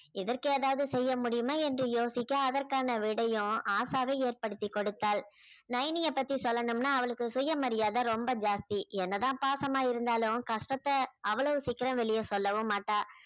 இதற்கு ஏதாவது செய்ய முடியுமா என்று யோசிக்க அதற்கான விடையும் ஆஷாவே ஏற்படுத்திக் கொடுத்தாள் நைனிய பத்தி சொல்லனும்னா அவளுக்கு சுயமரியாதை ரொம்ப ஜாஸ்தி என்னதான் பாசமா இருந்தாலும் கஷ்டத்தை அவ்வளவு சீக்கிரம் வெளிய சொல்லவும் மாட்டா